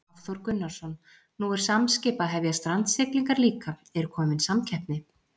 Hafþór Gunnarsson: Nú er Samskip að hefja strandsiglingar líka, er komin samkeppni?